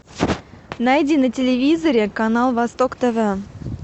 найди на телевизоре канал восток тв